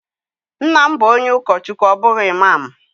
Nna m bu onye ukochukwu o bughi imam.